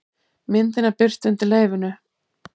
Myndin er birt undir leyfinu